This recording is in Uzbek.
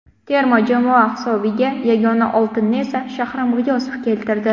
Terma jamoa hisobiga yagona oltinni esa Shahram G‘iyosov keltirdi.